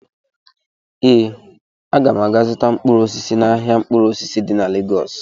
Ee, aga m aga zụta mkpụrụ osisi n'ahịa mkpụrụ osisi di na Legọs